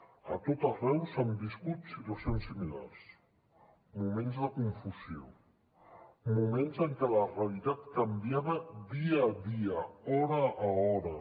a tot arreu s’han viscut situacions similars moments de confusió moments en què la realitat canviava dia a dia hora a hora